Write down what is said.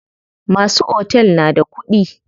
Masu otel na da kuɗi.